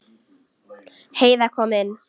Heiða kom inn.